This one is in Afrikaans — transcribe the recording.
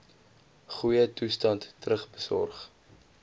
goeie toestand terugbesorg